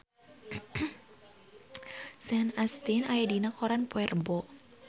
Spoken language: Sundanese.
Sean Astin aya dina koran poe Rebo